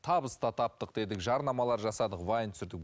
табыс та таптық дедік жарнамалар жасадық вайн түсірдік